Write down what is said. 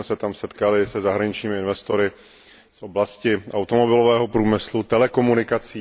My jsme se tam setkali se zahraničními investory v oblasti automobilového průmyslu, telekomunikací.